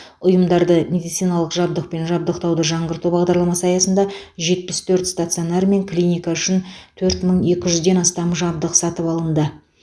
ұйымдарды медициналық жабдықпен жабдықтауды жаңғырту бағдарламасы аясында жетпіс төрт стационар мен клиника үшін төрт мың екі жүзден астам жабдық сатып алынды